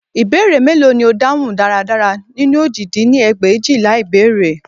Ìbéèrè mélòó ni o dáhùn dáradára nínú òjì dín ní ẹgbẹ̀éjìlá ìbéèrè